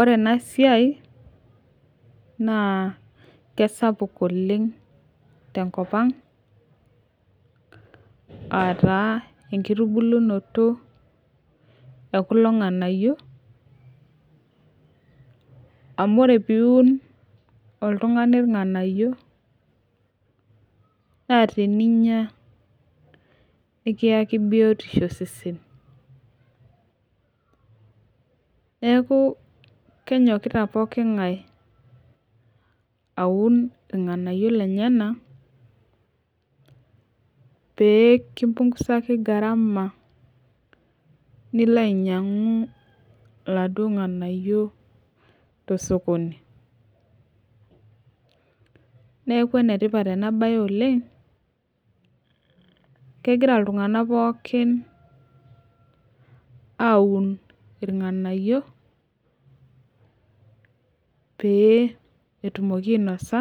Ore ena siai naa kesapuk oleng' tenkop ang' aa taa enkitubulunot e kulo ng'anayio amuore piiun oltung'ani irnganayio naa teninya nikayki biotisho osesen, neeku kenyokita pooki ng'ae aun irng'anayio linonok pee kimpungusaki garama nilo ainyiang'u iladuo ng'anayio tosokoni neeku enetipat ena baye oleng' kegira iltung'anak pookin aaun irng'anayio pee etumoki ainasa